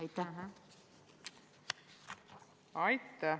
Aitäh!